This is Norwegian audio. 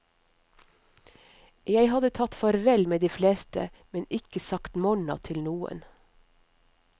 Jeg hadde tatt farvel med de fleste, men ikke sagt morna til noen.